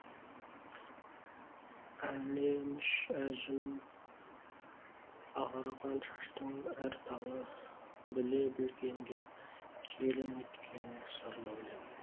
әлеміш әжім ағарған шаштың әр талы біле білгенге киелі неткен сырлы өлең